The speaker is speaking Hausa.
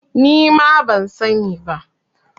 Nima ban sa ni ba